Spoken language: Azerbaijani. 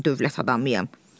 Mən dövlət adamıyam.